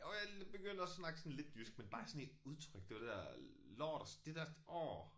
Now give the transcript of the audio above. Jo jeg begyndte at snakke sådan lidt jysk men bare sådan i udtryk det var det der lort og det der orh